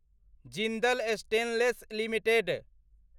Jindal stainless limited